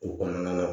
O kɔnɔna na